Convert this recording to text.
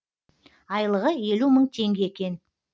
айлығы елу мың теңге екен